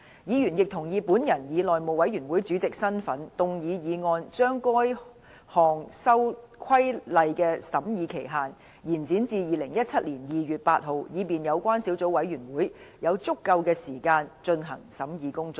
議員亦同意我以內務委員會主席的身份，動議議案將該項規例的審議期限，延展至2017年2月8日，以便有關小組委員會有足夠的時間進行審議工作。